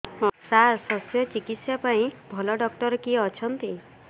ସାର ଶଲ୍ୟଚିକିତ୍ସା ପାଇଁ ଭଲ ଡକ୍ଟର କିଏ ଅଛନ୍ତି